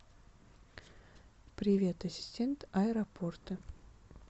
привет ассистент аэропорты